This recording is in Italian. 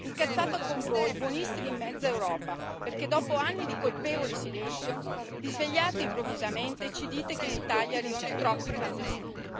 Incazzata con voi, buonisti di mezza Europa, perché dopo anni di colpevole silenzio vi svegliate improvvisamente e ci dite che in Italia arrivano troppi clandestini.